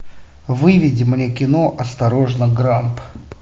выведи мне кино осторожно грамп